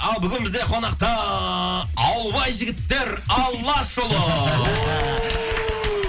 ал бүгін бізде қонақта ауылбай жігіттер алашұлы